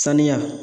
Sanuya